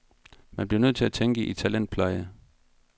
Man bliver nødt til at tænke i talentpleje.